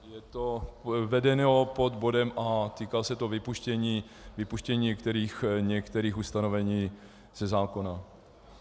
Je to vedeno pod bodem A, týká se to vypuštění některých ustanovení ze zákona.